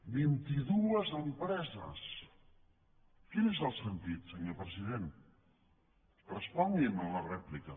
vint i dues empreses quin és el sentit senyor president respongui’m a la rèplica